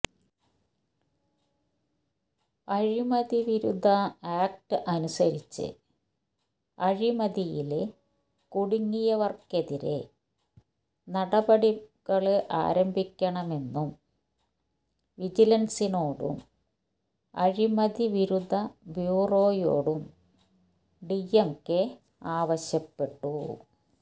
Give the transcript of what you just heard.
അഴിമതിവിരുദ്ധ act അനുസരിച്ച് അഴിമതിയില് കുടുങ്ങിയവര്ക്കെതിരെ നടപടികള് ആരംഭിക്കണമെന്നും വിജിലന്സിനോടും അഴിമതി വിരുദ്ധ ബ്യൂറോയോടും ഡി എം കെ ആവശ്യപ്പെട്ടു